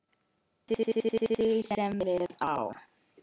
eftir því sem við á.